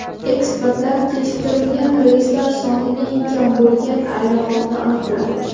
Ekspertlar kechiktirilgan reyslari soni eng kam bo‘lgan aeroportni aniqladi.